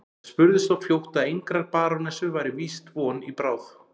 Það spurðist þó fljótt að engrar barónessu væri víst von í bráð.